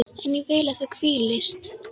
En ég vil að þú hvílist.